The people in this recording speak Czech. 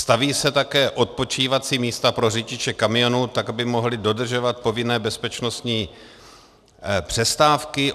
Staví se taky odpočívací místa pro řidiče kamionů, tak aby mohli dodržovat povinné bezpečnostní přestávky.